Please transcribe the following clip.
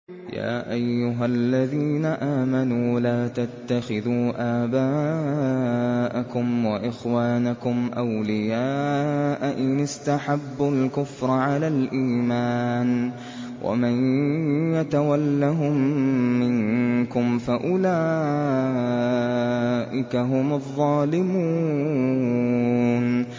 يَا أَيُّهَا الَّذِينَ آمَنُوا لَا تَتَّخِذُوا آبَاءَكُمْ وَإِخْوَانَكُمْ أَوْلِيَاءَ إِنِ اسْتَحَبُّوا الْكُفْرَ عَلَى الْإِيمَانِ ۚ وَمَن يَتَوَلَّهُم مِّنكُمْ فَأُولَٰئِكَ هُمُ الظَّالِمُونَ